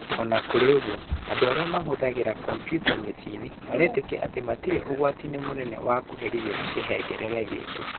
O na kũrĩ ũguo, andũ arĩa mahũthagĩra kompiuta mĩciĩ-inĩ marĩtĩkio atĩ matirĩ ũgwati-inĩ mũnene wa kũherithio nĩ kĩhengerere gĩkĩ.